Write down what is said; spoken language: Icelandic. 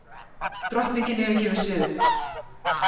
Drottningin yfirgefur sviðið